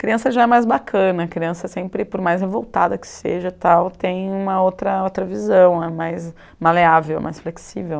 Criança já é mais bacana, criança sempre, por mais revoltada que seja tal, tem uma outra outra visão né, mais maleável, mais flexível.